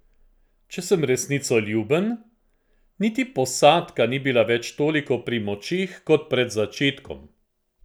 Če sem resnicoljuben, niti posadka ni bila več toliko pri močeh kot pred začetkom.